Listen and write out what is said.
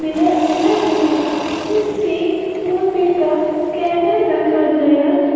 mirror भी है जिसपे फोनपे का स्कैनर रखा गया--